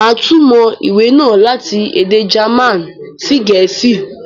Màá túmọ̀ ìwé náà láti èdè German sí Gẹ̀ẹ̀sìí